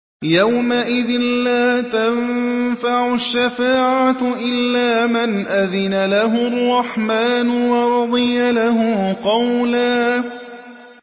يَوْمَئِذٍ لَّا تَنفَعُ الشَّفَاعَةُ إِلَّا مَنْ أَذِنَ لَهُ الرَّحْمَٰنُ وَرَضِيَ لَهُ قَوْلًا